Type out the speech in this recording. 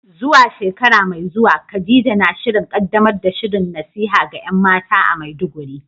Zuwa shekara mai zuwa, Khadija na shirin kaddamar da shirin nasiha ga ‘yan mata a Maiduguri.